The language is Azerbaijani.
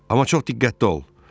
Amma çox diqqətli ol.